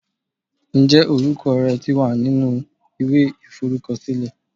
Ǹjẹ́ orúkọ rẹ ti wà nínú ìwé iforukosile?